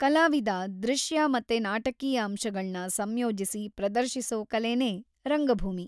ಕಲಾವಿದ ದೃಶ್ಯ ಮತ್ತೆ ನಾಟಕೀಯ ಅಂಶಗಳ್ನ ಸಂಯೋಜಿಸಿ ಪ್ರದರ್ಶಿಸೋ ಕಲೆನೇ ರಂಗಭೂಮಿ.